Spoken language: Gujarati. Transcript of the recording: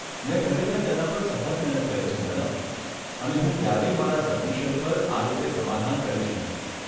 મેં ખરેખર તેના પર સખત મહેનત કરી છે, મેડમ, અને હું ક્યારેય મારા સબમિશન પર આ રીતે સમાધાન કરીશ નહીં.